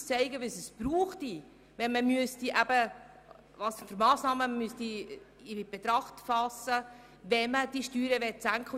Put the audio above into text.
Wir haben nämlich aufgezeigt, welche Massnahmen man ergreifen müsste, wenn man diese Steuern senken würde.